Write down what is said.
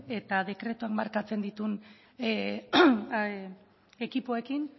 eta dekretuan markatzen dituen ekipoekin